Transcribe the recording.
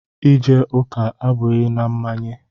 Ije ụka abụghị na mmanye.